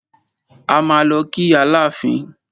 A máa lọ kí Aláàfin.